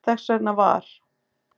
Þess vegna var